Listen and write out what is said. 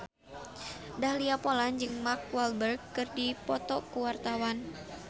Dahlia Poland jeung Mark Walberg keur dipoto ku wartawan